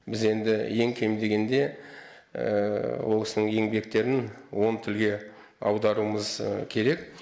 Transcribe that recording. біз енді ең кем дегенде ол кісінің еңбектерін он тілге аударуымыз керек